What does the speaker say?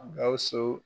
Gawusu